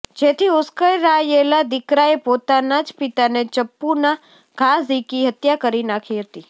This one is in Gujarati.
જેથી ઉશ્કેરાયેલા દીકરાએ પોતાના જ પિતાને ચપ્પુના ઘા ઝીંકી હત્યા કરી નાખી હતી